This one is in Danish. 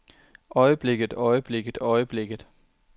øjeblikket øjeblikket øjeblikket